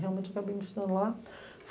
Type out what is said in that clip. Realmente eu acabei me estudando lá.